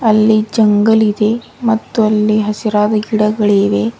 ಅಲ್ಲಿ ಜಂಗಲ್ ಇದೆ ಮತ್ತು ಅಲ್ಲಿ ಹಸಿರಾದ ಗಿಡಗಳಿವೆ.